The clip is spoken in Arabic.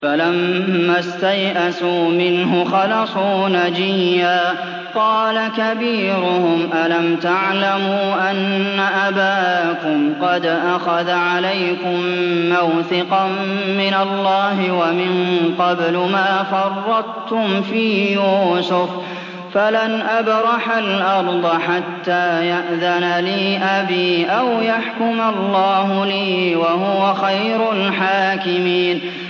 فَلَمَّا اسْتَيْأَسُوا مِنْهُ خَلَصُوا نَجِيًّا ۖ قَالَ كَبِيرُهُمْ أَلَمْ تَعْلَمُوا أَنَّ أَبَاكُمْ قَدْ أَخَذَ عَلَيْكُم مَّوْثِقًا مِّنَ اللَّهِ وَمِن قَبْلُ مَا فَرَّطتُمْ فِي يُوسُفَ ۖ فَلَنْ أَبْرَحَ الْأَرْضَ حَتَّىٰ يَأْذَنَ لِي أَبِي أَوْ يَحْكُمَ اللَّهُ لِي ۖ وَهُوَ خَيْرُ الْحَاكِمِينَ